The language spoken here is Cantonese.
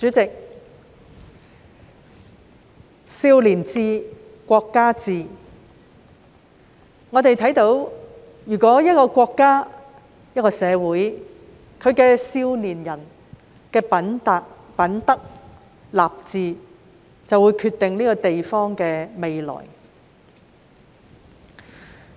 主席，"少年志，國家志"，我們看到一個國家、一個社會的少年人的品德、立志，會決定這個地方的未來。